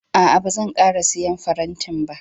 A'a, ba zan ƙara siyan faranti ba.